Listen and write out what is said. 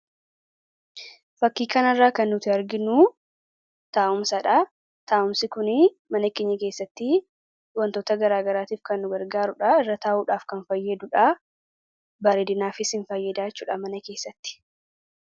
Fakkii kanarraa kan nuti arginuu, taa'umsadha. Taa'umsi kunii mana keenya keessatti wantoota garagaraatiif kan nu gargaarudha. Irra taa'uudhaaf kan fayyadudha. Bareedinaafis ni fayyadaa jechuudha. Mana keessatti.